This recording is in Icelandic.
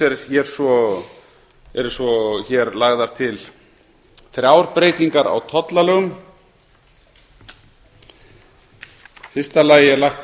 eru hér svo lagðar til þrjár breytingar á tollalögum í fyrsta lagi er lagt